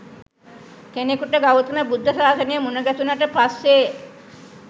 කෙනෙකුට ගෞතම බුද්ධ ශාසනය මුණගැසුනට පස්සේ